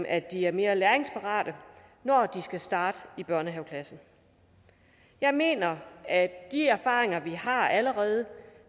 at de er mere læringsparate når de skal starte i børnehaveklasse jeg mener at de erfaringer vi allerede